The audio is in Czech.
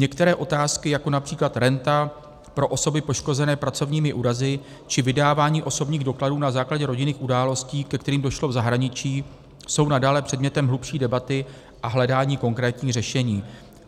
Některé otázky, jako například renta pro osoby poškozené pracovními úrazy či vydávání osobních dokladů na základě rodinných událostí, ke kterým došlo v zahraničí, jsou nadále předmětem hlubší debaty a hledání konkrétních řešení.